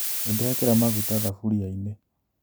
Nĩndekĩra maguta thaburia-inĩ